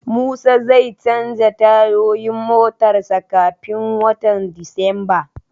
Musa zai canza tayoyin motar sa kafin watan Disamba